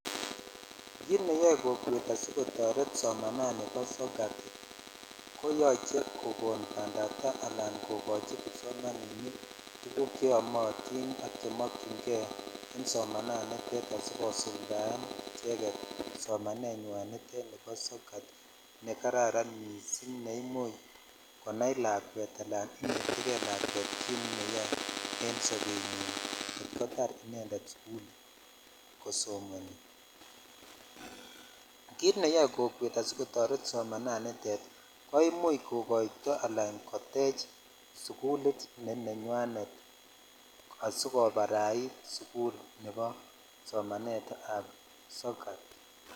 Kit neyo kokwet asikotort somanani bo sokat kokon pandaptai ala koko hi kipsomaninik cheomotin ak tuguk chekomokyin kei asikosulda en icheket somanet nite nibo sokat I karara missing ne imuch konai lakwet ala noe lakwet kit neuoe en dobenyin kitskotar inended sukulko somoni kit neyoe kokwet asikotor somananitet koimuch kokoito ala kotech sukulit ne nenywanet asikoparait somanet ab sokat.